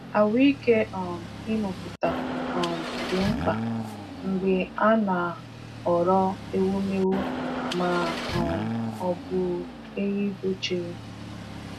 Ahụ́ike um ịmụpụta um dị mkpa mgbe a na-ahọrọ ewumewụ ma um ọ bụ ehi dochiri.